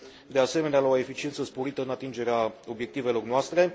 de asemenea, la o eficiență sporită în atingerea obiectivelor noastre.